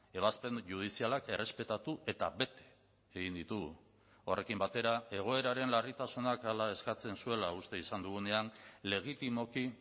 ebazpen judizialak errespetatu eta bete egin ditugu horrekin batera egoeraren larritasunak hala eskatzen zuela uste izan dugunean legitimoki